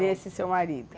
Nesse seu marido?